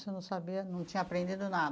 Você não sabia, não tinha aprendido nada?